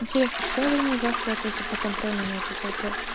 интересно что же мне завтра ответить на контрольный на этот вопрос